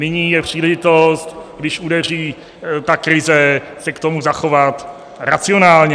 Nyní je příležitost, když udeří ta krize, se k tomu zachovat racionálně.